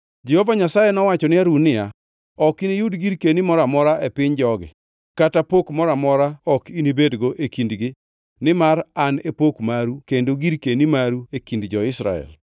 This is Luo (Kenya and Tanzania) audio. Jehova Nyasaye nowacho ne Harun niya, “Ok iniyud girkeni mora amora e piny jogi, kata pok moro amora ok inibedgo e kindgi nimar an e pok maru kendo girkeni maru e kind jo-Israel.